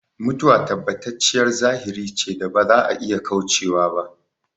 Mutuwa tabbatacciyar zahiri ce da ba za a iya kaucewa ba